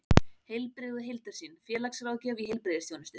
Heilbrigði og heildarsýn: félagsráðgjöf í heilbrigðisþjónustu.